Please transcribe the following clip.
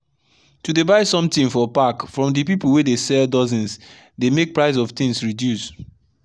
to dey buy something for pack from the people wey dey sell dozens dey make price of things reduce.